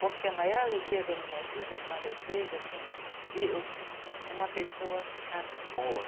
Porque a maior alegria da minha vida é quando eu vejo, assim, que uma pessoa ficar boa.